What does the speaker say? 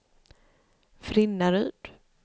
Frinnaryd